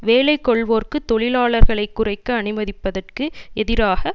வேலை கொள்வோருக்கு தொழிலாளர்களை குறைக்க அனுமதிப்பதற்கு எதிராக